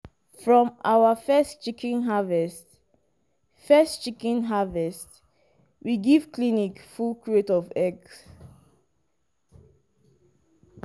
from our first chicken harvest first chicken harvest we give clinic full crate of eggs.